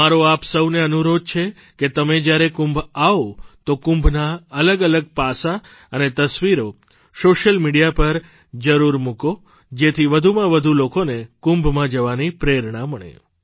મારો આપ સહુને અનુરોધ છે કે તમે જ્યારે કુંભ આવો તો કુંભનાં અલગઅલગ પાસાં અને તસવીરો સોશિયલ મીડિયા પર જરૂર મૂકો જેથી વધુમાં વધુ લોકોને કુંભમાં જવાની પ્રેરણા મળે